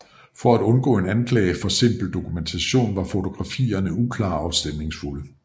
For at undgå en anklage for simpel dokumentation var fotografierne uklare og stemningsfulde